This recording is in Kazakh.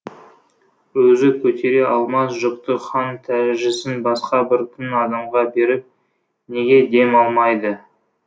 өзі көтере алмас жүкті хан тәжісін басқа бір тың адамға беріп неге дем алмайды